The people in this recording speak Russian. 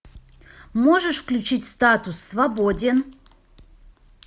можешь включить статус свободен